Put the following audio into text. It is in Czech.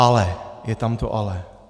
Ale je tam to ale.